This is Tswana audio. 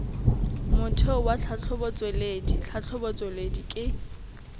motheo wa tlhatlhobotsweledi tlhatlhobotsweledi ke